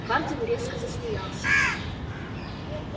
хардин резко засмеялся